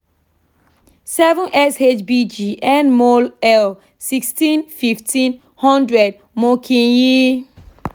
seven shbg (nmol/l) sixteen fifteen hundred mo kin yi